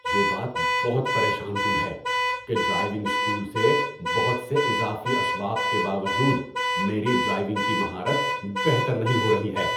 یہ بات بہت پریشان کن ہے کہ ڈرائیونگ اسکول سے بہت سے اضافی اسباق کے باوجود میری ڈرائیونگ کی مہارت بہتر نہیں ہو رہی ہے۔